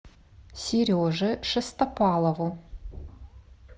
сереже шестопалову